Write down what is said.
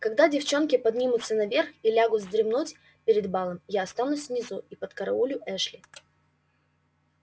когда девчонки поднимутся наверх и лягут вздремнуть перед балом я останусь внизу и подкараулю эшли